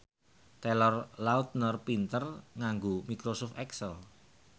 Taylor Lautner pinter nganggo microsoft excel